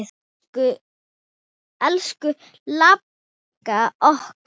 Elsku langafi okkar.